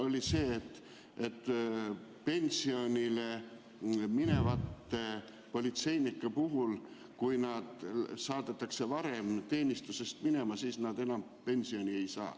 ... oli see, et pensionile minevad politseinikud, kes saadetakse varem teenistusest minema, enam pensioni ei saa.